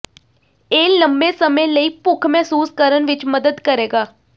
ਇਹ ਲੰਮੇ ਸਮੇਂ ਲਈ ਭੁੱਖ ਮਹਿਸੂਸ ਕਰਨ ਵਿੱਚ ਮਦਦ ਕਰੇਗਾ